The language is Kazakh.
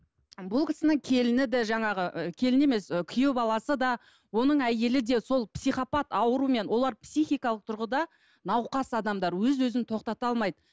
бұл кісінің келіні де жаңағы ы келіні емес ы күйеу баласы да оның әйелі де сол психопат ауруымен олар психикалық тұрғыда науқас адамдар өз өзін тоқтата алмайды